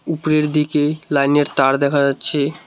উপরের দিকে লাইনের তাড় দেখা যাচ্ছে।